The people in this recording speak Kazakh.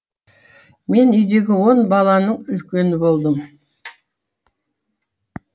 мен үйдегі он баланың үлкені болдым